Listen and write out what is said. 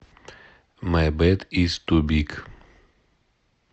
май бэд из ту биг